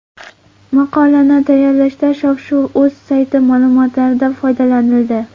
Maqolani tayyorlashda shov-shuv.uz sayti ma’lumotlaridan foydalanildi.